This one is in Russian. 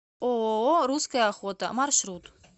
ооо русская охота маршрут